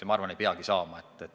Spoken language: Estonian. Ja ma arvan, et ei peagi saama.